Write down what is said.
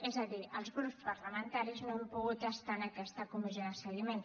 és a dir els grups parlamentaris no hem pogut estar en aquesta comissió de seguiment